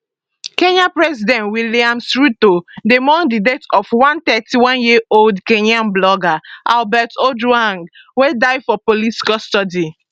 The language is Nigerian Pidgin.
kenya president williams ruto dey mourn di death of one 31yearold kenyan blogger albert ojwang wey die for police custody